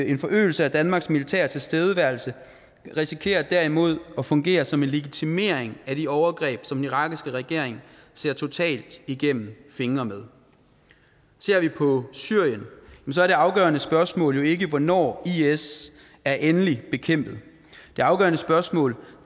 en forøgelse af danmarks militære tilstedeværelse risikerer derimod at fungere som en legitimering af de overgreb som den irakiske regering ser totalt igennem fingre med ser vi på syrien er det afgørende spørgsmål jo ikke hvornår is er endeligt bekæmpet det afgørende spørgsmål